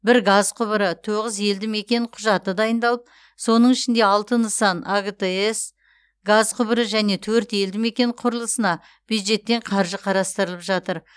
бір газ құбыры тоғыз елдімекен құжаты дайындалып соның ішінде алты нысан агтс газ құбыры және төрт елдімекен құрылысына бюджеттен қаржы қарастырылып жатыр